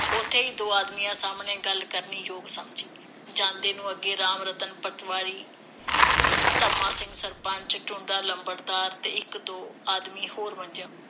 ਉਥੇ ਹੀ, ਦੋ ਆਦਮੀਆਂ ਸਾਹਮਣੇ, ਗੱਲ ਕਰਨੀ ਯੋਗ ਸਮਝੀ। ਜਾਂਦੇ ਨੂੰ ਅੱਗੇ ਰਾਮ ਰਤਨ ਪਟਵਾਰੀ, ਧੰਮਾ ਸਿੰਘ ਸਰਪੰਚ, ਟੁੰਡਾ ਲੰਬੜਦਾਰ ਤੇ ਇੱਕ ਦੋ ਆਦਮੀ ਹੋਰ ਮੰਜਿਆਂ